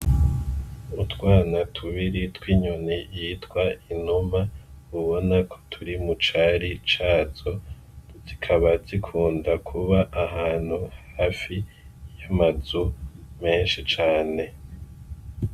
Utwana tubiri tw’inyoni yitwa inuma ubona ko turi mu cari cazo , zikaba zikunda kuba ahantu hafi y’amazu menshi cane .